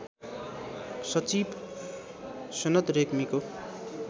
सचिव सनत रेग्मीको